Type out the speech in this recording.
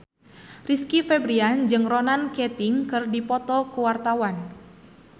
Rizky Febian jeung Ronan Keating keur dipoto ku wartawan